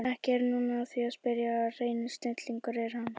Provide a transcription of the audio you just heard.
Ekki er nú að því að spyrja að hreinn snillingur er hann